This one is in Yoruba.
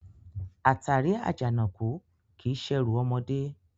Àtàrí Àjànàkú kìí ṣerù ọmọdé